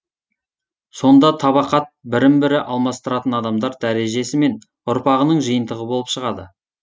сонда табақат бірін бірі алмастыратын адамдар дәрежесі мен ұрпағының жиынтығы болып шығады